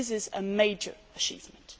This is a major achievement.